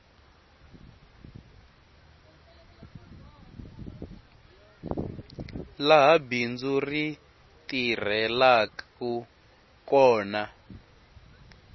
laha bindzu ri tirhelaku kona